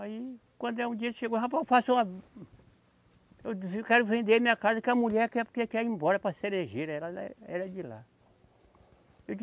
Aí, quando é um dia ele chegou, rapaz, eu faço uma. Eu quero vender minha casa que a mulher quer porque quer ir embora para Cerejeira, era ela era de lá.